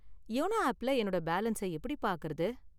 YONO ஆப்ல என்னோட balance எப்படி பார்க்கறது?